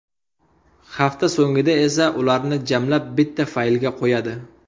Hafta so‘ngida esa ularni jamlab bitta faylga qo‘yadi.